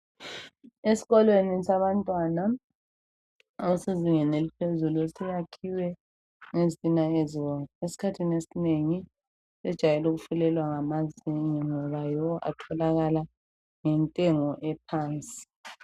Esikolweni sabantwana abasezingeni eliphezulu siyakhiwe ngezitina ezibomvu esikhathini esinengi zijwayele ukufulelwa ngamazenge ngoba yiwo atholakala ngentengo ephansi